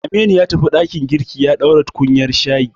Aminu ya tafi ɗakin girki ya ɗora tukunyar shayi.